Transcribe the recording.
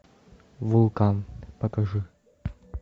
вулкан покажи